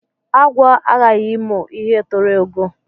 Agwọ aghaghi imu ihe toro ogo